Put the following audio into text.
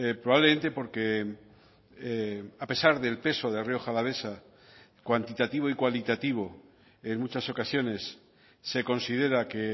probablemente porque a pesar del peso de rioja alavesa cuantitativo y cualitativo en muchas ocasiones se considera que